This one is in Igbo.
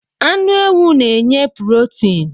Anu ewu n'nye purotin